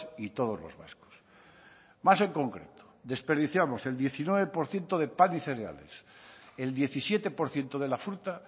y todos los vascos más en concreto desperdiciamos el diecinueve por ciento de pan y cereales el diecisiete por ciento de la fruta